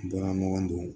N bɔra ɲɔgɔn don